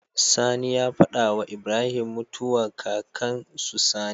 Sani ya fada wa Ibrahim mutuwa kakan su Sani